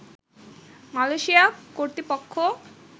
Malaysia কর্তৃপক্ষ